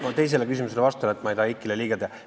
Ma teisele küsimusele vastan, et ma ei taha Eikile liiga teha.